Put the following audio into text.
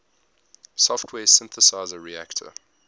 software synthesizer reaktor